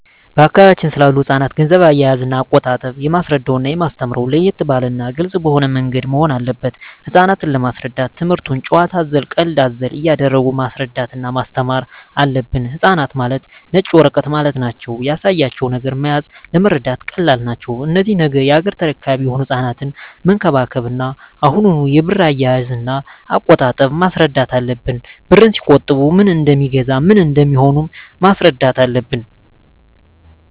በአካባቢያችን ስላሉ ህጻናት ገንዘብ አያያዝና አቆጣጠብ የማስረዳውና የማስተምረው ለየት ባለና ግልጽ በሆነ ምንገድ መሆን አለበት ህጻናት ለመሰረዳት ትምክህቱን ጭዋታ አዘል ቀልድ አዘል እያረጉ ማስረዳት እና ማስተማር አለብን ህጻናት ማለት ነጭ ወረቀት ማለት ናቸው ያሳያቸው ነገር መያዝ ለመረዳት ቀላል ናቸው እነዚህ ነገ ያገሬ ተረካቢ የሆኑ ህጻናትን መንከባከብ እና አሁኑ የብር አያያዥ እና አቆጣጠብ ማስረዳት አለብን ብርን ሲቆጥቡ ምን እደሜገዛ ምን እንደሚሆኑም ማስረዳት አለብን